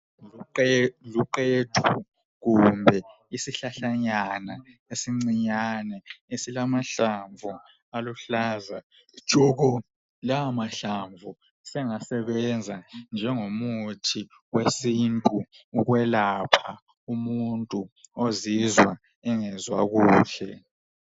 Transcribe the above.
Luqethu kumbe isihlahlanyana esincinyane esilamahlamvu aluhlaza tshoko. Lawa mahlamvu sengasebenza njengomuthi wesintu ukwelapha umuntu ozizwa engezwa kahle.